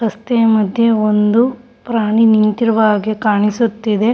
ರಸ್ತೆ ಮದ್ಯ ಒಂದು ಪ್ರಾಣಿ ನಿಂತಿರುವ ಹಾಗೆ ಕಾಣಿಸುತ್ತಿದೆ.